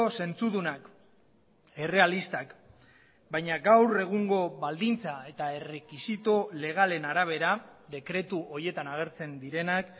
zentzudunak errealistak baina gaur egungo baldintza eta errekisito legalen arabera dekretu horietan agertzen direnak